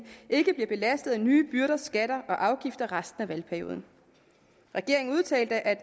ikke bliver belastet af nye byrder skatter og afgifter resten af valgperioden regeringen udtalte at